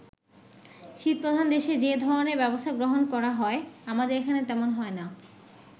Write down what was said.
শীতপ্রধান দেশে যে ধরণের ব্যবস্থা গ্রহণ করা হয়, আমাদের এখানে তেমন হয় না।